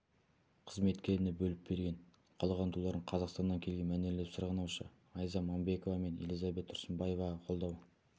қызметкеріне бөліп берген қалған туларын қазақстаннан келген мәнерлеп сырғанаушы айза мамбекова мен элизабет тұрсынбаеваға қолдау